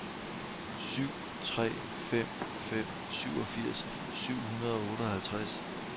syv tre fem fem syvogfirs syv hundrede og otteoghalvtreds